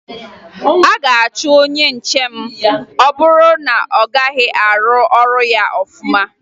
A ga-achụ onye nche ma ọ bụrụ na ọ gaghị arụ ọrụ ya ọfụma